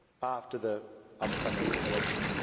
after the upcoming elections.